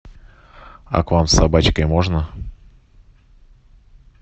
а к вам с собачкой можно